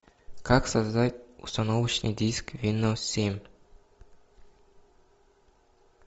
как создать установочный диск виндоус семь